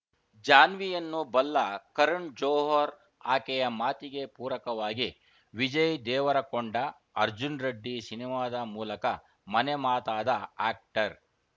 ಜಾನ್ವಿಯನ್ನು ಬಲ್ಲ ಕರಣ್‌ ಜೋಹರ್‌ ಆಕೆಯ ಮಾತಿಗೆ ಪೂರಕವಾಗಿ ವಿಜಯ್‌ ದೇವರಕೊಂಡ ಅರ್ಜುನ್‌ ರೆಡ್ಡಿ ಸಿನಿಮಾದ ಮೂಲಕ ಮನೆ ಮಾತಾದ ಆ್ಯಕ್ಟರ್‌